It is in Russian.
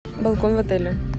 балкон в отеле